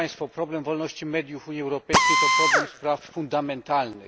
Problem wolności mediów w Unii Europejskiej to problem dotyczący spraw fundamentalnych.